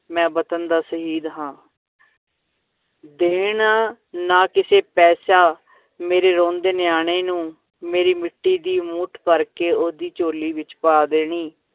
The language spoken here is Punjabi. ਮੈਂ ਵਤਨ ਦਾ ਸ਼ਹੀਦ ਹਾਂ ਦੇਣਾ ਨਾ ਕਿਸੇ ਪੈਸਾ ਮੇਰੇ ਰੋਂਦੇ ਨਿਆਣੇ ਨੂੰ, ਮੇਰੀ ਮਿੱਟੀ ਦੀ ਮੁੱਠ ਭਰ ਕੇ, ਓਹਦੀ ਝੋਲੀ ਵਿੱਚ ਪਾ ਦੇਣੀ।